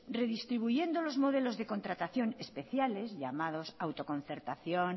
redistribuyendo los modelos de contratación especiales llamados auto concertación